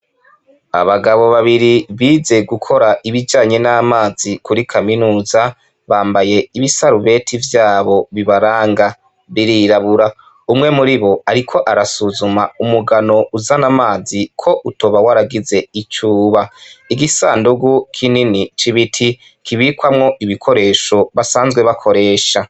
Abagabo babiri bize gukora ibijanye n'amazi kuri kaminuza, bambaye ibisarubeti vy'abo bibaranga, birirabura. Umwe muribo, ariko arasuzuma umugano uzana amazi, ko utoba waragize ico uba. Igisandugu kinini c'ibiti kibikwamwo ibikoresho basanzwe bakoresha.